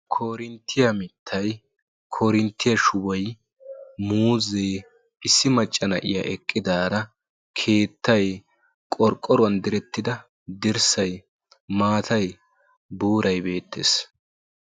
Korinttiya mittayi Korinttiya shubayi muuzzee issi macca na'iya eqqidaara keettayi qorqqoruwan direttida dirssayi maatayi buurayi beettes.